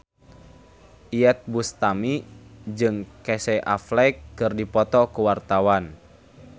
Iyeth Bustami jeung Casey Affleck keur dipoto ku wartawan